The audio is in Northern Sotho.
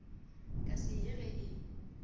ka se ye ge e